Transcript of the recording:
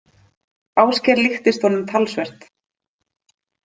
Ásgeir líktist honum talsvert.